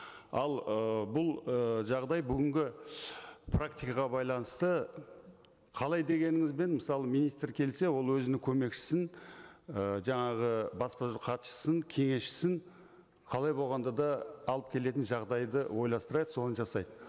ал ы бұл ы жағдай бүгінгі практикаға байланысты қалай дегеніңізбен мысалы министр келсе ол өзінің көмекшісін і жаңағы баспасөз хатшысын кеңесшісін қалай болғанда да алып келетін жағдайды ойластырады соны жасайды